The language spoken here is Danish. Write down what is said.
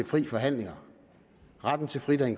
for lokale